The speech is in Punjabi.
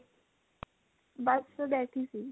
ਬਸ ਬੈਠੀ ਸੀ